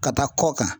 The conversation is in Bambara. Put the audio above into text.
Ka taa kɔ kan